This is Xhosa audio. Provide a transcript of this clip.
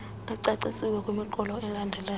ecacisiweyo kwimiqolo elandelayo